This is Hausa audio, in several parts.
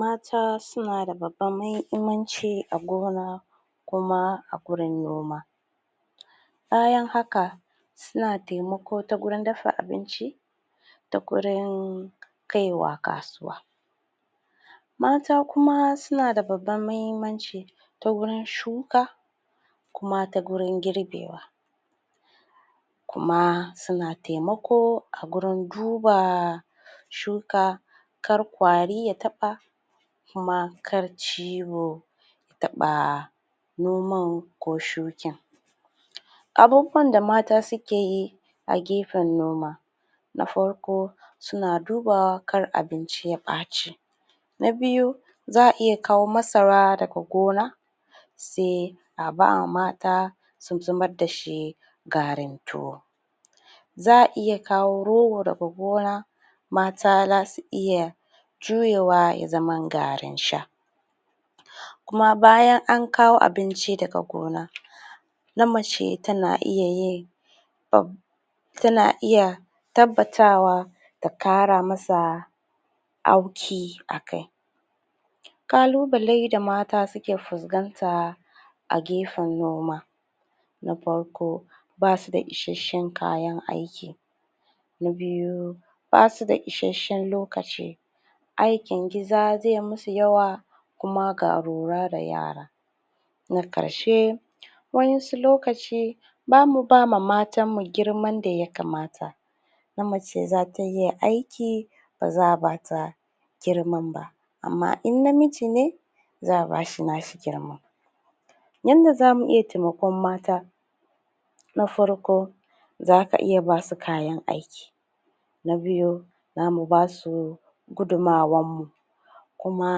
mata suna da babban mahimmanci a gona kuma a gurin noma. bayan haka suna taimako ta wurin dafa abinci da gurin kaiwa kasuwa. mata kuma suna da babban mahimmanci ta wurin shuka kuma ta gurin girbewa. kuma suna taimako a gurin duba shuka kar ƙwari ya taɓa kuma kar ciwo ya taɓa noman ko shukin. abubuwan da mata sukeyi a gefen noma na farko suna dubawa kar abinci ya ɓaci ba biyu za'a iya kawo masara daga gona se a ba mata su zama dashi garin tuwo. za'a iya kawo rogo daga gona mata zasu iya juyewa ya zama garin sha kuma bayan an kawo abinci daga gona na mace tana iya yin tana iya tabbatawa ta kara masa auki a kai. kalunale da mata suke fuskanta a gefen noma na farko basuda isashen kayan aiki na biyu basuda isashen lokaci aikin gida zai musu yawa kuma ga lura da yara. na ƙarshe wa'insu lokaci bamu bama matan mu girman da ya kamata na mace zata iya aiki baza'a bata girman ba amma in namiji ne za'a bashi nashi girman. yanda zamu iya taimakon mata na farko zaka iya basu kayan aiki na biyu zamu basu gudumawan mu kuma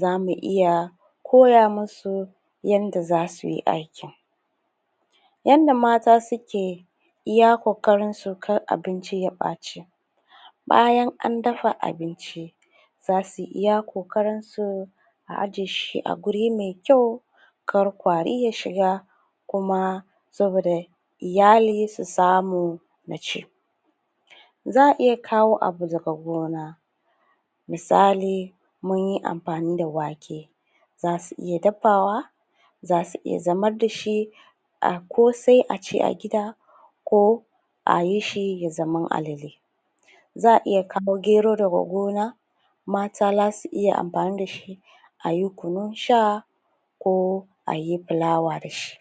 zamu iya koya musu yanda zasuyi aikin. yanda mata suke iya ƙoƙrinsu kar abinci ya ɓaci bayan an dafa abinci zasu iya kokarin su a aje shi a guri mai kyau kar ƙwari ya shiga kuma saboda iyali su samu za'a iya kawo abu daga gona misali munyi amfani da wake zasu iya dafawa zasu iya zamar dashi a ƙose a ci a gida ko a yishi ya zamo alele. za'a iya kawo gero daga gona mata zasu iya amfani dashi ayi kunun sha ko ayi fulawa dashi.